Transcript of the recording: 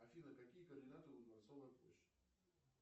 афина какие координаты у дворцовой площади